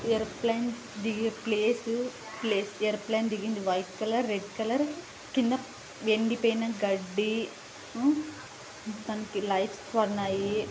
Aeroplane దిగే place place aeroplane దిగింది white colour(white colour) కింద ఎండిపోయిన గడ్డి దానికి లైట్స్ ఉన్నాయి.